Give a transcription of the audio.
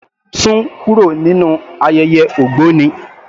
Sún kúrò nínú ayẹyẹ ògbóni.